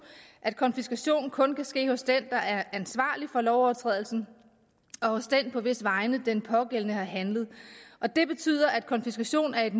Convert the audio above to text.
at konfiskation kun kan ske hos den der er ansvarlig for lovovertrædelsen og hos den på hvis vegne den pågældende har handlet og det betyder at konfiskation af